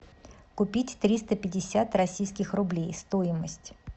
купить триста пятьдесят российских рублей стоимость